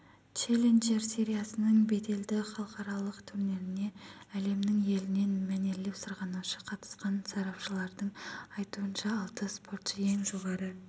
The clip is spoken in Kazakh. челленджер сериясының беделді халықаралық турниріне әлемнің елінен мәнерлеп сырғанаушы қатысқан сарапшылардың айтуынша алты спортшы ең жоғары